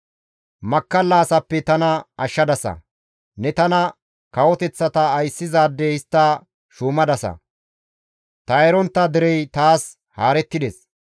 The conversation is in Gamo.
Makkalla asappe tana ashshadasa; ne tana kawoteththata ayssizaade histta shuumadasa; ta erontta derey taas haarettides.